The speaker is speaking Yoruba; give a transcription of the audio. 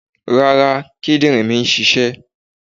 Rárá, kídìrín mi ń ṣiṣẹ́.